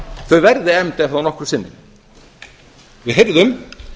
þau verði efnd ef þá nokkru sinni við heyrðum